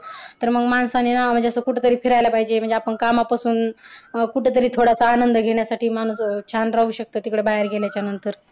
तर मग माणसाने कुठंतरी फिरायला पाहिजे म्हणजे आपण कामा पासून कुठंतरी थोडासा आनंद घेण्यासाठी माणूस छान राहू शकतो तिकडे बाहेर गेल्याच्या नंतर